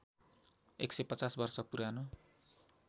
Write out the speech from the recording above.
१५० वर्ष पुरानो